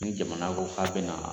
Ni jamana ko k'a bɛna